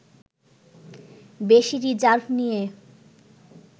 বেশি রিজার্ভ নিয়ে